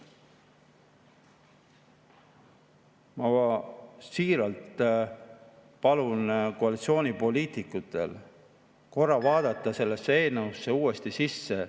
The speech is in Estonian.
Ma siiralt palun koalitsioonipoliitikutel korra vaadata sellesse eelnõusse uuesti sisse.